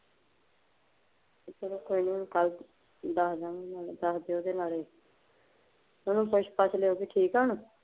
ਚੱਲ ਕੋਈ ਨਹੀਂ ਕੱਲ ਦੱਸ ਦਿਆਂਗੇ ਉਹਨੂੰ ਦੱਸ ਦਯੋ ਤੇ ਨਾਲੇ ਓਹਨੂੰ ਪੁੱਛ ਪੱਛ ਲਿਯੋ ਵੀ ਠੀਕ ਆ ਹੁਣ।